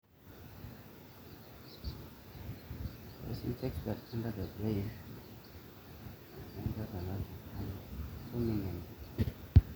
ore irkut loojing elukunya naa kejing innuesi kumok entim